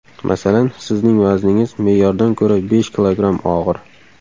Masalan, sizning vazningiz me’yordan ko‘ra besh kilogramm og‘ir.